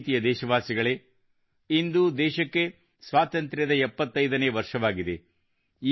ನನ್ನ ಪ್ರೀತಿಯ ದೇಶವಾಸಿಗಳೇ ಇದು ದೇಶಕ್ಕೆ ಸ್ವಾತಂತ್ರ್ಯದ 75 ನೇವರ್ಷವಾಗಿದೆ